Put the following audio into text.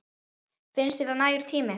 Finnst þér það nægur tími?